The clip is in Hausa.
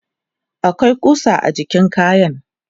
akwai kusa a jikin wayan